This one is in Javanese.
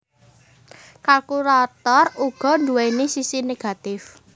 Kalkulator uga nduwèni sisi negatif